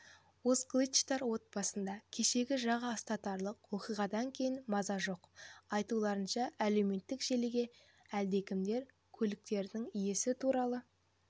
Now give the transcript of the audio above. озкылычтар отбасында кешегі жаға ұстатарлық оқиғадан кейін маза жоқ айтуларынша әлеуметтік желіге әлдекімдер көліктің иесі туралы